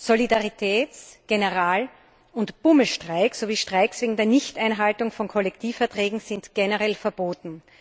Solidaritäts General und Bummelstreiks sowie Streiks wegen der Nichteinhaltung von Kollektivverträgen sind generell verboten.